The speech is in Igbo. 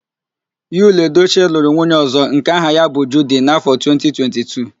Yul Edochie lụrụ nwunye ọ̀zọ́ nke aha ya bụ Judi n' áfọ 2022.